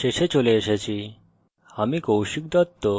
আমরা we tutorial শেষে চলে এসেছি